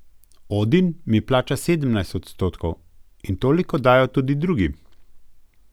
Odin mi plača sedemnajst odstotkov in toliko dajo tudi drugi.